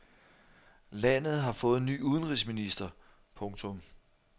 Landet har fået ny udenrigsminister. punktum